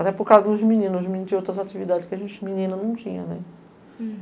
Até por causa dos meninos, os meninos tinham outras atividades que a gente menina não tinha, né?